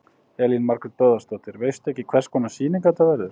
Elín Margrét Böðvarsdóttir: Veistu ekki hvers konar sýning þetta verður?